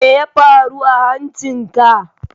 Meya faru a hancin ka?